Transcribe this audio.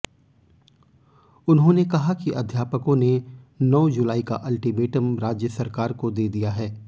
उन्होंने कहा कि अध्यापकों ने नौ जुलाई का अल्टीमेटम राज्य सरकार को दे दिया है